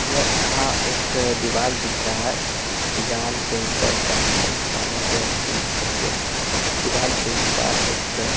य अहाँ एक दीवाल दिख रहा है दीवाल के ऊपर चार निकाले गए है बीम के लिए दीवाल के उस पार एक --